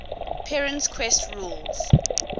perrin's quest rules